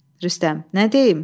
Rüstəm, nə deyim?